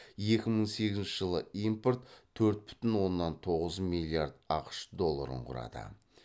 екі мың сегізінші жылы импорт төрт бүтін оннан тоғыз милилард ақш долларын құрады